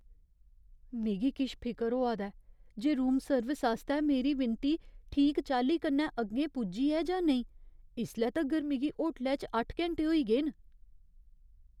मिगी किश फिकर होआ दा ऐ जे रूम सर्विस आस्तै मेरी विनती ठीक चाल्ली कन्नै अग्गें पुज्जी ऐ जां नेईं। इसले तगर मिगी होटलै च अट्ठ घैंटे होई गे न...